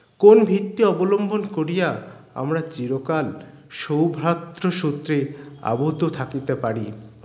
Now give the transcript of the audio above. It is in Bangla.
কোন ভিত্তে অবলম্বন করিয়া আমরা চিরকাল সৌভাত্র সূত্রে আবদ্ধ থাকিতে পারি